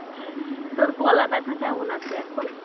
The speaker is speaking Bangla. তোর গলা ব্যাথা কেমন আছে এখন